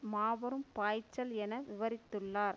மாபெரும் பாய்ச்சல் என விவரித்துள்ளார்